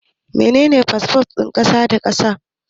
Mene fasfon kasa da kasa?